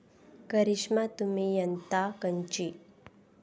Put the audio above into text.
करिष्मा तुही यत्ता कंची?